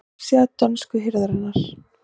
Vefsíða dönsku hirðarinnar